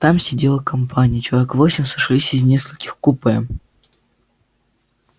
там сидела компания человек восемь сошлись из нескольких купе